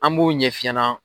An b'o ɲɛf'i ɲɛna.